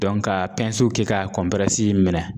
ka kɛ ka minɛ